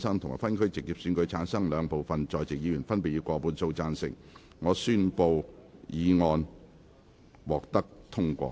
由於議題獲得兩部分在席議員分別以過半數贊成，他於是宣布修正案獲得通過。